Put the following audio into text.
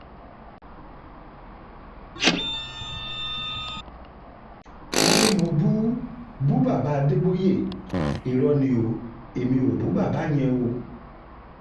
wọn ní mo bú bú bàbá adéboye irọ ni o èmí ò bú bàbá yẹn o